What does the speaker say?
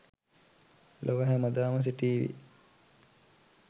ලොව හැමදාම සිටීවි.